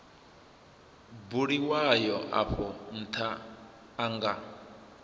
buliwaho afho ntha a nga